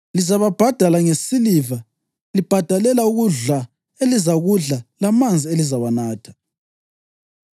Lizababhadala ngesiliva libhadalela ukudla elizakudla lamanzi elizawanatha.” ’